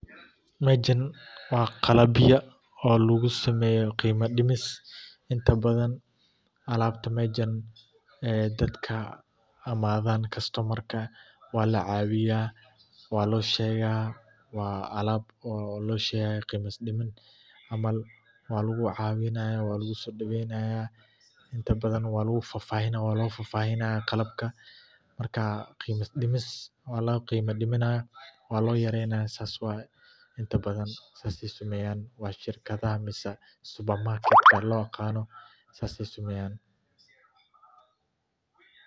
Meshan waa qalab ya oo lagu sameeyo inta badan alaabta meshan dadka inadan, waa alab lagu cawinaya lagu soo daweynaya, qiima dims, waa lagu yareynaya, saas ayeey sameyan.